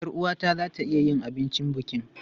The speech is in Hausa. Yar uwata za ta iya yin abincin bukin.